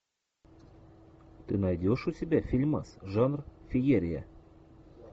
ты найдешь у себя фильмас жанр феерия